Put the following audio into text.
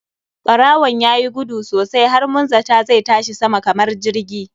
Ɓarawon yayi guduwa sosai har mun zata zai tashi sama kamar jirgi.